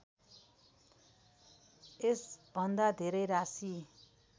यसभन्दा धेरै राशि